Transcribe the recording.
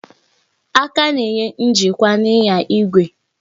Aka na-enye njikwa n'inya igwe